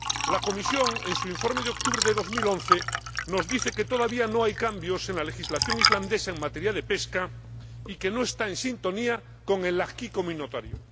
La Comisión, en su informe de octubre de 2011, nos dice que todavía no hay cambios en la legislación islandesa en materia de pesca y que no está en sintonía con el acervo de la Unión.